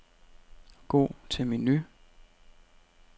Gå til menu.